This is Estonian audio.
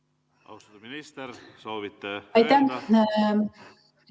Austatud minister, kas soovite vastata?